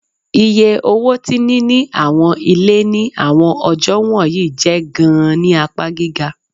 Iye owo ti nini awọn ile ni awọn ọjọ wọnyi jẹ gaan ni apa giga